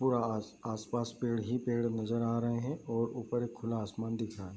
पूरा आस-पास पेड़ ही पेड़ नज़र आ रहे हैं और ऊपर एक खुला आसमान दिख रहा है।